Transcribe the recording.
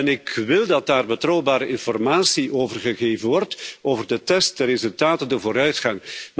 Ik wil dat daar betrouwbare informatie over gegeven wordt over de test, de resultaten, de vooruitgang.